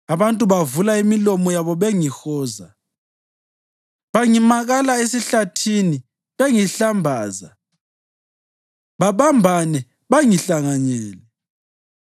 Abantu bavula imilomo yabo bengihoza; bangimakala esihlathini bengihlambaza babambane bangihlanganyele.